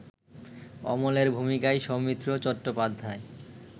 অমলের ভূমিকায় সৌমিত্র চট্টোপাধ্যায়